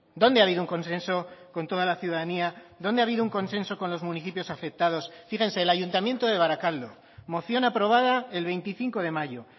dónde ha habido un consenso con toda la ciudadanía dónde ha habido un consenso con los municipios afectados fíjense el ayuntamiento de barakaldo moción aprobada el veinticinco de mayo